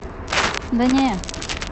да не